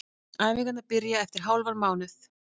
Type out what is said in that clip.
Æfingarnar byrja eftir hálfan mánuð.